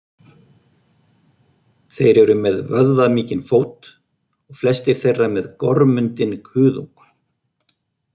Þeir eru með vöðvamikinn fót og flestir þeirra með gormundinn kuðung.